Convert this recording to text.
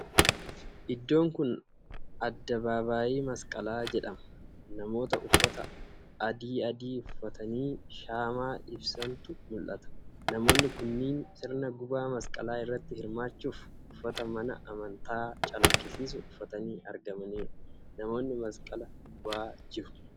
Iddoon kuni adda babaayii masqalaa jedhama. Namoota uffata adaadii uffatanii shaamaa ibsatanitu mul'ata. Namoonni kunniin sirna gubaa masqalaa irratti hirmaachuf uffata mana amantaa calaqqisiisu uffatanii argamaniiru. Namoonni masqala gubaa jiru.